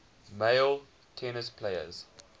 male tennis players